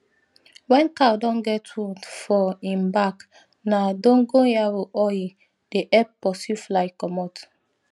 wen cow don get wound for im bak na dogon yaro oil dey epp pursue fly commot